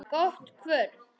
Gott kvöld.